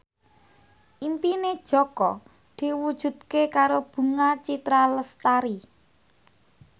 impine Jaka diwujudke karo Bunga Citra Lestari